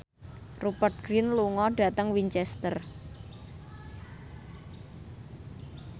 Rupert Grin lunga dhateng Winchester